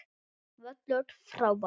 Völlur frábær.